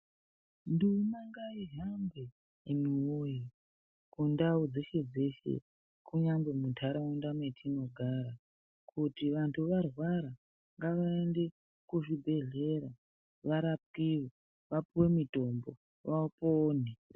Nduma ngaihambe imi woye kundau dzeshe kunyangwe muntaraunda metinogara kuti vanthu varwara ngavaende kuzvibhedhkera varapiwe vapiwe mitombo vapone